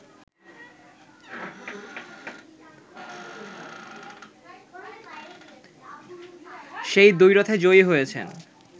সেই দ্বৈরথে জয়ী হয়েছেন